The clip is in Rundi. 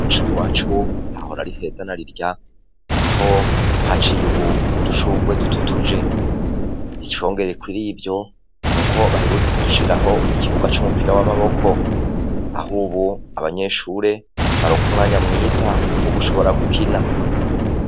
Mw'ishuri iwacu hahora ari heza na rirya aho uhaciye ubu udushurwe dututuje. Icongeye kuri ivyo, n'uko baherutse kudushiriraho ikibuga c'umupira w'amaboko, aho ubu abanyeshure baronka umwanya mwiza wo gushobora gukina.